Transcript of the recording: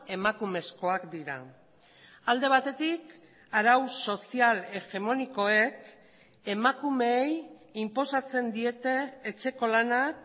emakumezkoak dira alde batetik arau sozial hegemonikoek emakumeei inposatzen diete etxeko lanak